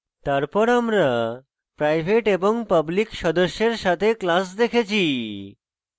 তারপর আমরা private এবং public সদস্যের সাথে class দেখেছি